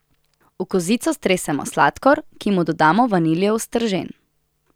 V kozico stresemo sladkor, ki mu dodamo vaniljev stržen.